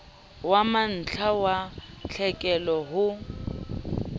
wa mantlha wa tlhekelo ho